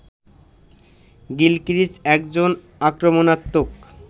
Gilchrist একজন আক্রমণাত্মক